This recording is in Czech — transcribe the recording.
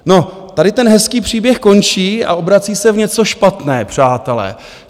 No, tady ten hezký příběh končí a obrací se v něco špatné, přátelé.